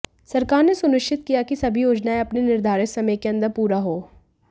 सरकार ने सुनिश्चित किया कि सभी योजनाएं अपने निर्धारित समय के अंदर पूरा हों